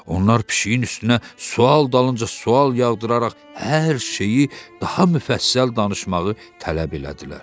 Onlar pişiyin üstünə sual dalınca sual yağdıraraq hər şeyi daha müfəssəl danışmağı tələb elədilər.